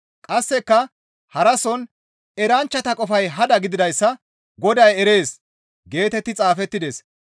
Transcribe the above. Qasseka harason, «Eranchchata qofay hada gididayssa Goday erees» geetetti xaafettides.